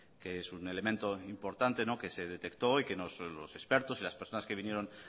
que es un elemento importante que se detectó y que los expertos y las personas que vinieron